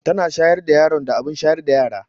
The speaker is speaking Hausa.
Tana shayar da yaron da abin shayar da yara.